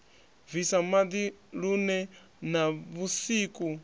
bvisa maḓi lune na vhusiku